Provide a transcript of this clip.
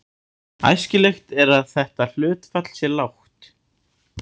Æskilegt er að þetta hlutfall sé lágt.